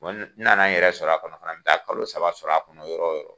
Wa n nan'a n yɛrɛ sɔrɔ a kɔnɔ fana, an bɛ taa kalo saba sɔrɔ a kɔnɔ yɔrɔ o yɔrɔ!